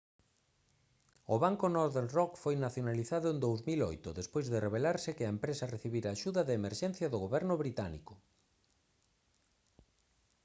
o banco northern rock foi nacionalizado en 2008 despois de revelarse que a empresa recibira axuda de emerxencia do goberno británico